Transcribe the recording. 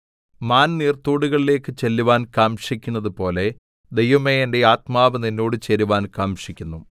മാൻ നീർത്തോടുകളിലേക്ക് ചെല്ലുവാൻ കാംക്ഷിക്കുന്നതുപോലെ ദൈവമേ എന്റെ ആത്മാവ് നിന്നോട് ചേരുവാൻ കാംക്ഷിക്കുന്നു